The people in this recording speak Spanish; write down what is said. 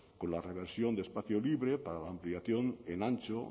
con la reversión de espacio libre para la ampliación en antxo